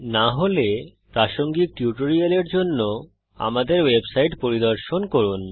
না হলে প্রাসঙ্গিক টিউটোরিয়ালের জন্য আমাদের ওয়েবসাইট পরিদর্শন করুন